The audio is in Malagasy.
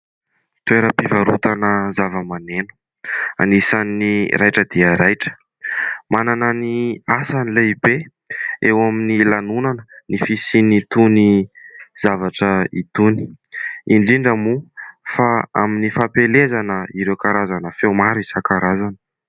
Toeram-pivarotana zava-maneno anisan'ny raitra dia raitra ; manana ny asany lehibe eo amin'ny lanonana ny fisian'itony zavatra itony ; indrindra moa fa amin'ny fampielezana ireo karazana feo maro isan-karazany.